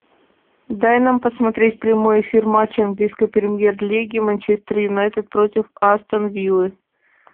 дай нам посмотреть прямой эфир матча английской премьер лиги манчестер юнайтед против астон виллы